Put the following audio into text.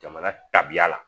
Jamana tabiya la